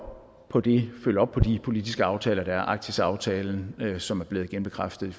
på de politiske aftaler der er arktisaftalen som er blevet genbekræftet i